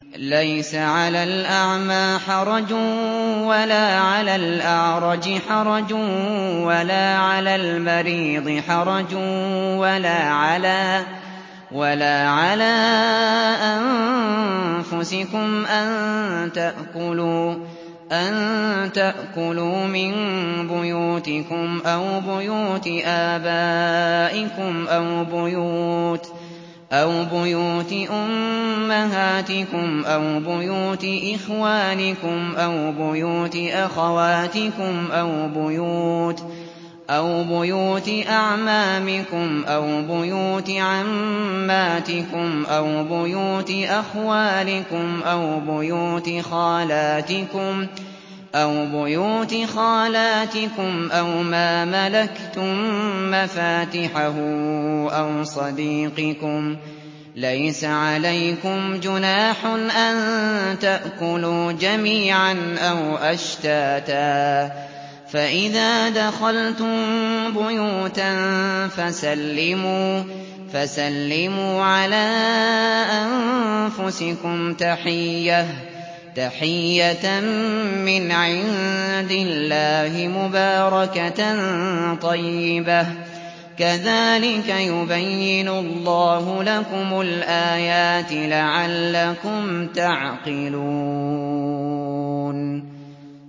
لَّيْسَ عَلَى الْأَعْمَىٰ حَرَجٌ وَلَا عَلَى الْأَعْرَجِ حَرَجٌ وَلَا عَلَى الْمَرِيضِ حَرَجٌ وَلَا عَلَىٰ أَنفُسِكُمْ أَن تَأْكُلُوا مِن بُيُوتِكُمْ أَوْ بُيُوتِ آبَائِكُمْ أَوْ بُيُوتِ أُمَّهَاتِكُمْ أَوْ بُيُوتِ إِخْوَانِكُمْ أَوْ بُيُوتِ أَخَوَاتِكُمْ أَوْ بُيُوتِ أَعْمَامِكُمْ أَوْ بُيُوتِ عَمَّاتِكُمْ أَوْ بُيُوتِ أَخْوَالِكُمْ أَوْ بُيُوتِ خَالَاتِكُمْ أَوْ مَا مَلَكْتُم مَّفَاتِحَهُ أَوْ صَدِيقِكُمْ ۚ لَيْسَ عَلَيْكُمْ جُنَاحٌ أَن تَأْكُلُوا جَمِيعًا أَوْ أَشْتَاتًا ۚ فَإِذَا دَخَلْتُم بُيُوتًا فَسَلِّمُوا عَلَىٰ أَنفُسِكُمْ تَحِيَّةً مِّنْ عِندِ اللَّهِ مُبَارَكَةً طَيِّبَةً ۚ كَذَٰلِكَ يُبَيِّنُ اللَّهُ لَكُمُ الْآيَاتِ لَعَلَّكُمْ تَعْقِلُونَ